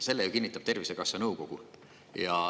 Selle kinnitab Tervisekassa nõukogu.